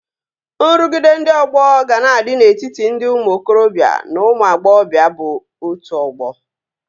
Nrụgide ndị ọgbọ ga na-adị n'etiti ndị ụmụ okorobịa na ụmụ agbọghọbịa bụ otu ọgbọ